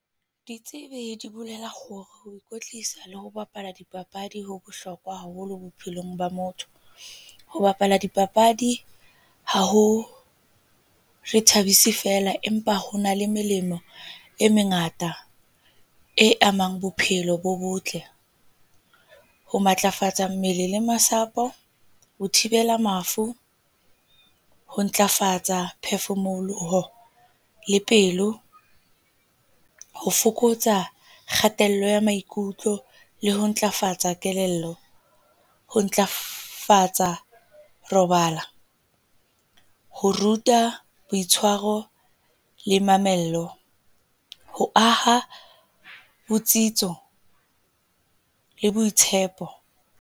Ditsebi di bolela hore ho ikwetlisa le ho bapala dipapadi ho bohlokwa haholo bophelong ba motho. Ho bapala dipapadi ha re ithabise feela, empa ho na le melemo e mengata e amang bophelo bo botle. Ho matlafatsa mmele le masapo, ho thibela mafu, ho ntlafatsa phefumoloho le pelo, ho fokotsa kgatello ya maikutlo le ho ntlafatsa kelello. Ho ntlafatsa robala, ho ruta boitshwaro le mamello, ho aha botsitso le boitshepo.